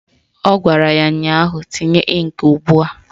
Ọ gwara ya ụnyaahụ "Tinye ịnkị ugbua"!